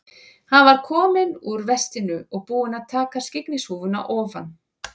Hann var kominn úr vestinu og búinn að taka skyggnishúfuna ofan.